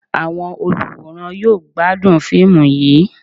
Awọn oluwórán yọọ gbadún fiimú yíí